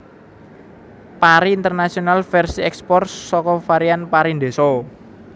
pari Internasional versi ekspor saka varian pari ndeso